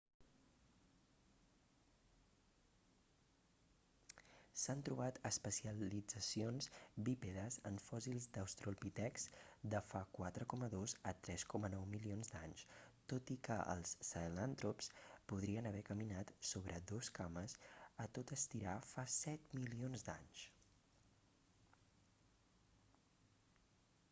s'han trobat especialitzacions bípedes en fòssils d'austrolpitecs de fa 4.2-3.9 milions d'anys tot i que els sahelantrops podrien haver caminat sobre 2 cames a tot estirar fa 7 milions d'anys